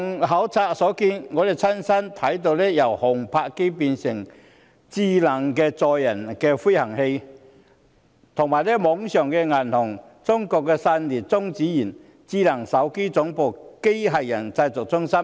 考察過程中，我們親身看到由航拍機變成的智能載人飛行器、網上銀行、中國散裂中子源、智能手提電話總部、機械人製造中心。